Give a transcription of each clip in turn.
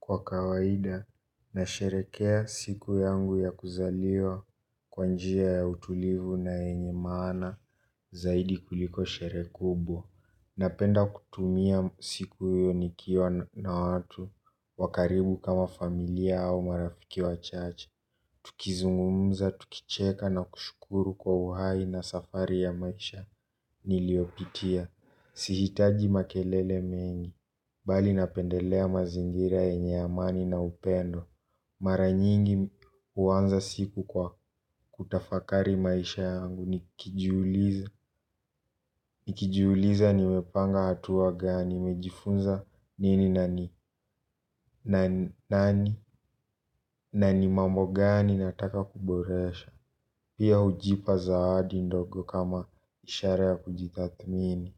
Kwa kawaida, nasherekea siku yangu ya kuzaliwa kwanjia ya utulivu na enye maana zaidi kuliko shere kubwa. Napenda kutumia siku hiyo nikiwa na watu wakaribu kama familia au marafiki wa chache. Tukizungumza, tukicheka na kushukuru kwa uhai na safari ya maisha niliopitia. Sihitaji makelele mengi, bali napendelea mazingira enye amani na upendo. Mara nyingi uwanza siku kwa kutafakari maisha yangu. Nikijiuliza, nikijuuliza nimepanga hatua gani, nimejifunza nini nani, nani nani. Nani mambo gani nataka kuboresha. Pia hujipa zawadi ndogo kama ishara ya kujitathmini.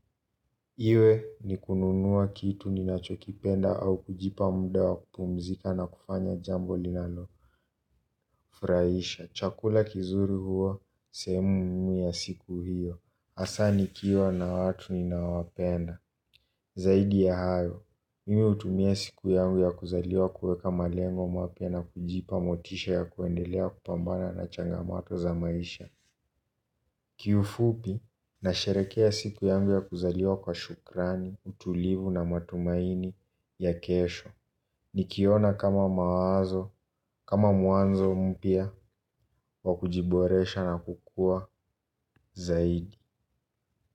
Iwe ni kununua kitu ninachokipenda au kujipa mda wa kupumzika na kufanya jambo linalo furaisha, chakula kizuri huwa sehemu muhimu ya siku hiyo. Asani nikiwa na watu ninawapenda. Zaidi ya hayo, mimi utumia siku yangu ya kuzaliwa kueka malengo mapia na kujipa motisha ya kuendelea kupambana na changamato za maisha. Ki ufupi nasherekea siku yangu ya kuzaliwa kwa shukrani, utulivu na matumaini ya kesho. Nikiona kama maazo, kama muanzo mpia wa kujiboresha na kukua zaidi.